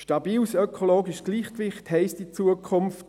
Stabiles ökologisches Gleichgewicht heisst in Zukunft: